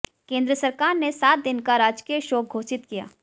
केंद्र सरकार ने सात दिन का राजकीय शोक घोषित किया